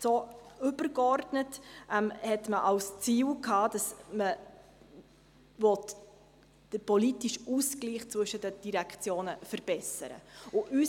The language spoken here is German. Übergeordnet hatte man zum Ziel, dass man den politischen Ausgleich zwischen den Direktionen verbessern wollte.